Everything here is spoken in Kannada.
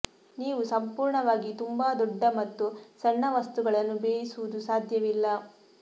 ನೀವು ಸಂಪೂರ್ಣವಾಗಿ ತುಂಬಾ ದೊಡ್ಡ ಮತ್ತು ಸಣ್ಣ ವಸ್ತುಗಳನ್ನು ಬೇಯಿಸುವುದು ಸಾಧ್ಯವಿಲ್ಲ